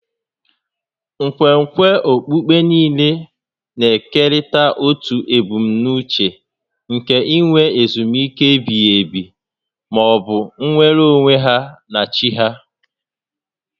Nkwenkwe okpukpe niile na-ekerịta otu ebumnuche nke inwe ezumike ebighi ebi ma ọ bụ nnwere onwe ha na chi ha